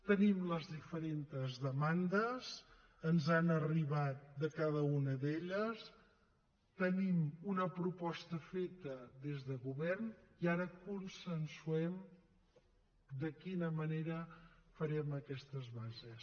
tenim les diferentes demandes ens n’han arribat de cada una d’elles tenim una proposta feta des de govern i ara consensuem de quina manera farem aquestes bases